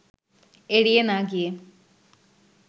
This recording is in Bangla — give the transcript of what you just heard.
এড়িয়ে না গিয়ে